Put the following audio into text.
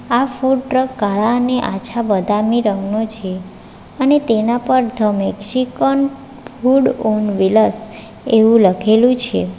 આ food truck કાળાને આછા બદામી રંગનો છે અને તેના પર the Mexican food on wheeler એવું લખેલું છે.